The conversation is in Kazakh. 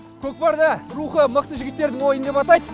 көкпарды рухы мықты жігіттердің ойыны деп атайды